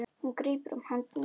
Hún grípur um hönd mína.